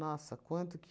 Nossa, quanto que...